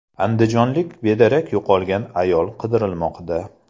Andijonlik bedarak yo‘qolgan ayol qidirilmoqda.